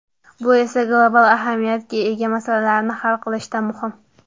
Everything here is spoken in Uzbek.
Bu esa global ahamiyatga ega masalalarni hal qilishda muhim.